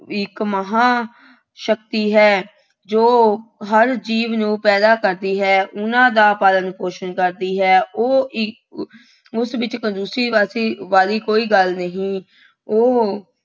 ਵੀ ਇੱਕ ਮਹਾਂ ਸ਼ਕਤੀ ਹੈ। ਜੋ ਹਰ ਜੀਵ ਨੂੰ ਪੈਦਾ ਕਰਦੀ ਹੈ। ਉਹਨਾ ਦਾ ਪਾਲਣ ਪੋਸ਼ਣ ਕਰਦੀ ਹੈ। ਉਹ ਇੱਕ ਉਸ ਵਿੱਚ ਕੰਜੂਸੀ ਵਰਤੀ ਵਾਲੀ ਕੋਈ ਗੱਲ ਨਹੀਂ, ਉਹ